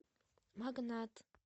магнат